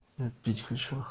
пить хочу